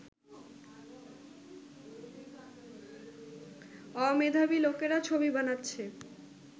অমেধাবী লোকেরা ছবি বানাচ্ছে